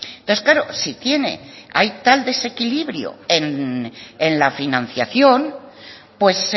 entonces claro si tiene hay tal desequilibrio en la financiación pues